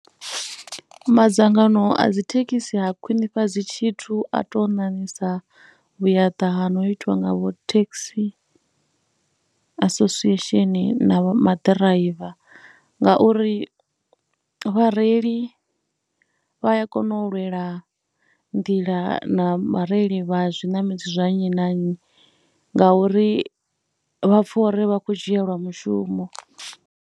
Madzangano a dzi thekhisi ha khwinifhadzi tshithu a tou ṋaṋisa vhuyaḓa ha no itiwa nga vho taxi association na maḓiraiva ngauri vhareili vha a kona u lwela nḓila na vhareili vha zwiṋamedzi zwa nnyi na nnyi ngauri vha pfha uri vha khou dzhieliwa mushumo.